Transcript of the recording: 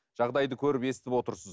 жағдайды көріп естіп отырсыз